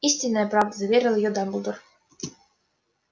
истинная правда заверил её дамблдор